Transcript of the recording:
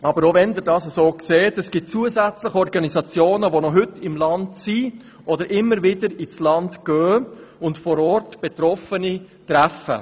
Selbst wenn Sie dies so sehen, gibt es zusätzliche Organisationen, welche sich noch heute im Land befinden und immer wieder hinreisen und vor Ort Betroffene treffen.